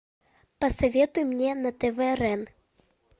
посоветуй мне на тв рен